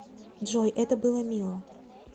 джой это было мило